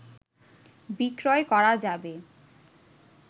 বিক্রয় করা যাবে